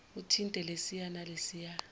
uthinte lesiya nalesiya